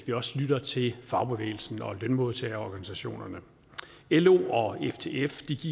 lytte til fagbevægelsen og lønmodtagerorganisationerne lo og ftf